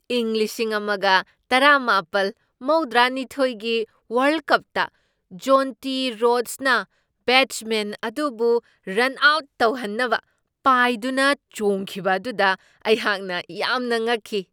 ꯏꯪ ꯂꯤꯁꯤꯡ ꯑꯃꯒ ꯇꯔꯥꯃꯥꯄꯜ ꯃꯧꯗ꯭ꯔꯥꯅꯤꯊꯣꯢꯒꯤ ꯋꯥꯔꯜꯗ ꯀꯞꯇ ꯖꯣꯟꯇꯤ ꯔꯣꯗ꯭ꯁꯅ ꯕꯦꯠꯁꯃꯦꯟ ꯑꯗꯨꯕꯨ ꯔꯟ ꯑꯥꯎꯠ ꯇꯧꯍꯟꯅꯕ ꯄꯥꯏꯗꯨꯅ ꯆꯣꯡꯈꯤꯕ ꯑꯗꯨꯗ ꯑꯩꯍꯥꯛꯅ ꯌꯥꯝꯅ ꯉꯛꯈꯤ꯫